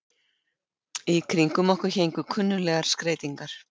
Í kringum okkur héngu kunnuglegar skreytingar.